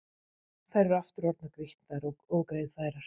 Þær eru aftur orðnar grýttar og ógreiðfærar.